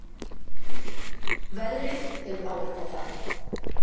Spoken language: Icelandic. Veðrið hefur áhrif á það